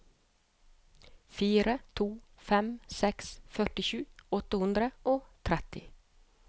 fire to fem seks førtisju åtte hundre og tretti